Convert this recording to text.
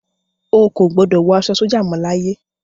Ó kò gbọ́dọ̀ wọ aṣọ sójà mọ láyé.